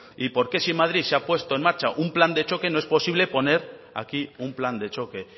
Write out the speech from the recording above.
y porque si en madrid se ha puesto en marcha un plan de choque no es posible poner aquí un plan de choque